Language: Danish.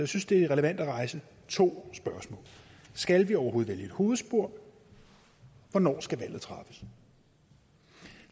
synes det er relevant at rejse to spørgsmål skal vi overhovedet vælge et hovedspor hvornår skal valget træffes